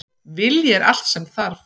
Vilji er allt sem þarf